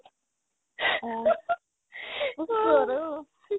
অ, কৰছো আৰু